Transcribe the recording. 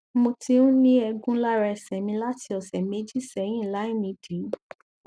mo ti ń ní ẹgún lára ẹsẹ mi láti ọsẹ méjì sẹyìn láìnídìí